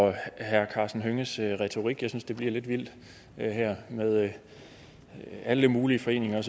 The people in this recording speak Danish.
over herre karsten hønges retorik jeg synes at det bliver et vildt her med alle mulige foreninger